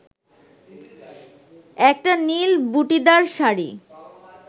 একটা নীল বুটিদার শাড়ি